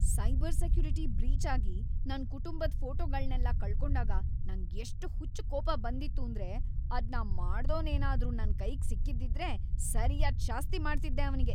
Cyber security breach ಆಗಿ ನನ್ ಕುಟುಂಬದ್ ಫೋಟೋಗಳ್ನೆಲ್ಲ ಕಳ್ಕೊಂಡಾಗ ನಂಗ್‌ ಎಷ್ಟ್ ಹುಚ್ಚ್‌ ಕೋಪ ಬಂದಿತ್ತೂಂದ್ರೆ ಅದ್ನ ಮಾಡ್ದೋನೇನಾದ್ರೂ ನನ್‌ ಕೈಗ್‌ ಸಿಕ್ಕಿದ್ದಿದ್ರೆ ಸರ್ಯಾದ್‌ ಶಾಸ್ತಿ ಮಾಡ್ತಿದ್ದೆ ಅವ್ನಿಗೆ.